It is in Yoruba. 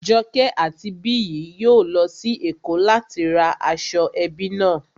Joke àti Biyi yóò lọ sí Èkó láti ra aṣọ ẹbí náà